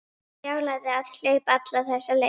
Brjálæði að hlaupa alla þessa leið.